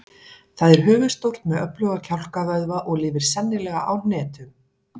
Það er höfuðstórt með öfluga kjálkavöðva og lifir sennilega á hnetum.